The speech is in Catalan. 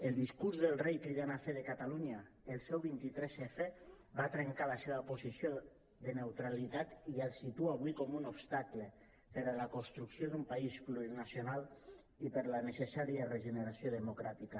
el discurs del rei per cridar a fer de catalunya el seu vint tres f va trencar la seva posició de neutralitat i el situa avui com un obstacle per a la construcció d’un país plurinacional i per a la necessària regeneració democràtica